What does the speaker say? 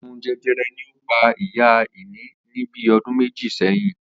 Àrùn je̩je̩re̩ ni ó pa Ìyá Ìní ní bí o̩dún méjì sé̩yìn